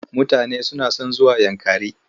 Mutane suna son zuwa Yankari.